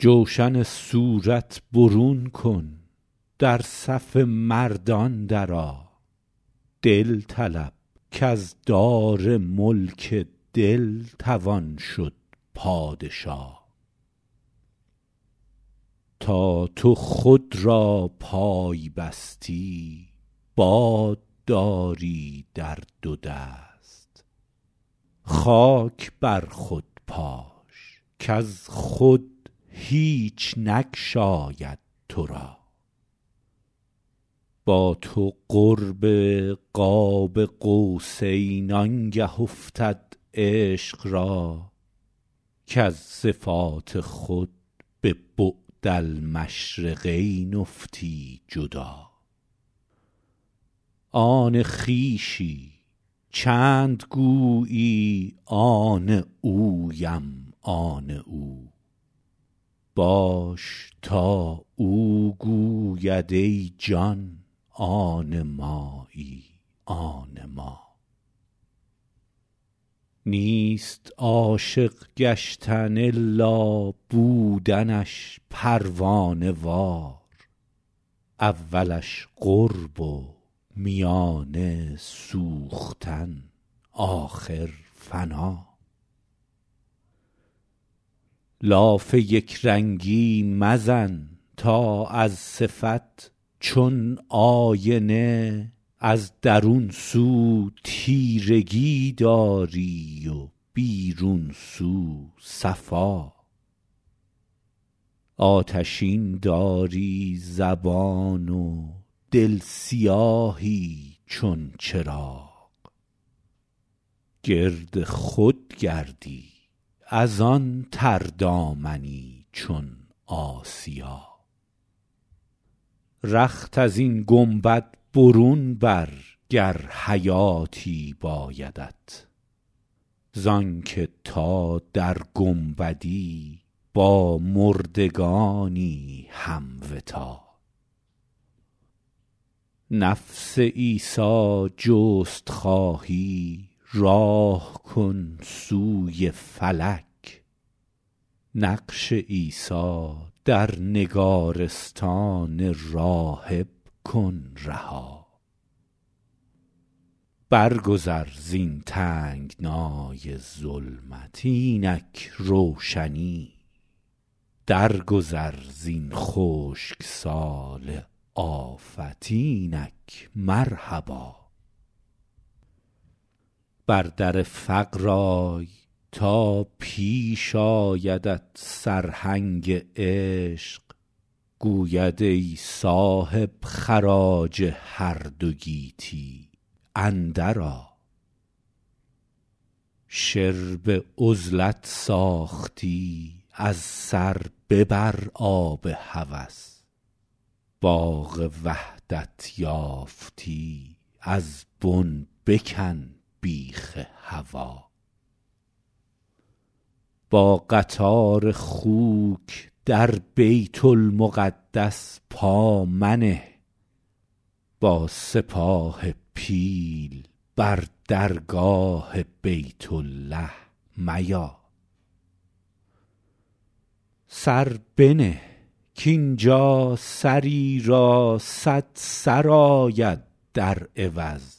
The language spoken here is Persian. جوشن صورت برون کن در صف مردان درآ دل طلب کز دار ملک دل توان شد پادشا تا تو خود را پای بستی باد داری در دو دست خاک بر خود پاش کز خود هیچ ناید تو را با تو قرب قاب قوسین آنگه افتد عشق را کز صفات خود به بعدالمشرقین افتی جدا آن خویشی چند گویی آن اویم آن او باش تا او گوید ای جان آن مایی آن ما نیست عاشق گشتن الا بودنش پروانه وار اولش قرب و میانه سوختن آخر فنا لاف یک رنگی مزن تا از صفت چون آینه از درون سو تیرگی داری و بیرون سو صفا آتشین داری زبان زآن دل سیاهی چون چراغ گرد خود گردی از آن تردامنی چون آسیا رخت از این گنبد برون بر گر حیاتی بایدت زآن که تا در گنبدی با مردگانی هم وطا نفس عیسی جست خواهی راه کن سوی فلک نقش عیسی در نگارستان راهب کن رها برگذر زین تنگنای ظلمت اینک روشنی درگذر زین خشک سال آفت اینک مرحبا بر در فقر آی تا پیش آیدت سرهنگ عشق گوید ای صاحب خراج هر دو گیتی اندر آ شرب عزلت ساختی از سر ببر باد هوس باغ وحدت یافتی از بن بکن بیخ هوا با قطار خوک در بیت المقدس پا منه با سپاه پیل بر درگاه بیت الله میا سر بنه کاینجا سری را صد سر آید در عوض